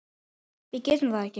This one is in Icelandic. Við getum það ekki.